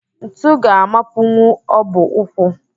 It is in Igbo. Ntu ga-amapunwu ọbụ ụkwụ